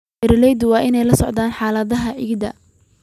Beeralayda waa inay la socdaan xaaladaha ciidda.